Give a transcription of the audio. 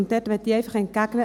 Hier möchte ich entgegnen: